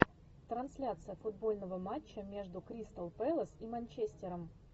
трансляция футбольного матча между кристал пэлас и манчестером